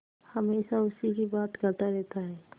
हमेशा उसी की बात करता रहता है